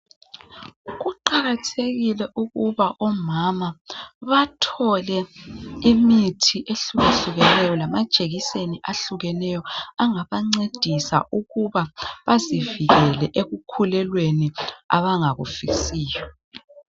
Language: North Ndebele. Kuqakathekile ukuba omama bathole imithi ehlukahlukeneyo lamajekiseni ahlukeneyo angabancedisa ukuba bazivikele ekukhulelweni abangakufisiyo.